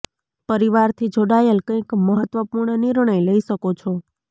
પરિવાર થી જોડાયેલ કંઇક મહત્વપૂર્ણ નિર્ણય લઇ શકો છો